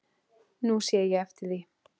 Nú sé ég eftir því.